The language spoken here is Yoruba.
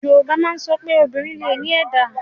Yorùbá má ń sọpé, obìnrin lẹ ní ẹ̀dá.